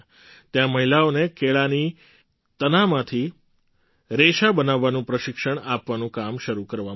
ત્યાં મહિલાઓને કેળાનાં બેકાર તનામાંથી રેશા ફાઇબર બનાવવાનું પ્રશિક્ષણ આપવાનું કામ શરૂ કરવામાં આવ્યું